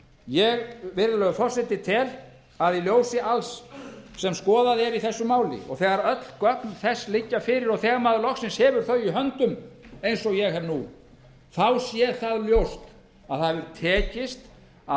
ég virðulegi forseti tel að í ljósi alls sem skoðað er í þessu máli og þegar öll gögn þess liggja fyrir og þegar maður loksins hefur þau í höndum eins og ég hef nú þá sé það ljóst að það hefur tekist að